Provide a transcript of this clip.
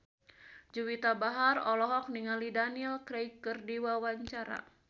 Juwita Bahar olohok ningali Daniel Craig keur diwawancara